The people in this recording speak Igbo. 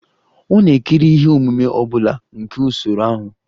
Ọ na-ekiri ihe omume ọ bụla nke usoro ahụ?